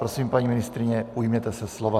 Prosím, paní ministryně, ujměte se slova.